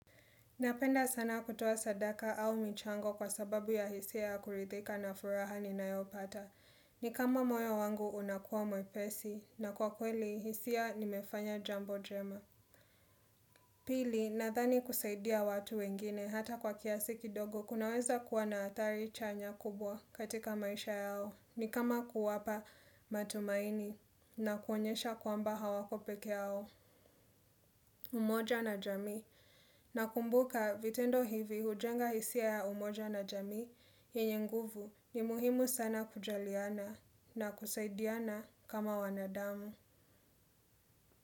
Napenda sana kutoa sadaka au michango kwa sababu ya hisia ya kurithika na furaha ni nayopata. Ni kama moyo wangu unakuwa mwepesi na kwa kweli hisia nimefanya jambo jema. Pili nadhani kusaidia watu wengine hata kwa kiasiki dogo kunaweza kuwa na athari chanya kubwa katika maisha yao. Ni kama kuwapa matumaini na kuwaonyesha kwamba hawako peke yao. Umoja na jamii na kumbuka vitendo hivi hujenga hisia ya umoja na jamii yenyenguvu ni muhimu sana kujaliana na kusaidiana kama wanadamu.